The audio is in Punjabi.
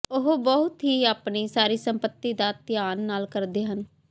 ਉਹ ਬਹੁਤ ਹੀ ਆਪਣੀ ਸਾਰੀ ਸੰਪਤੀ ਦਾ ਧਿਆਨ ਨਾਲ ਕਰਦੇ ਹਨ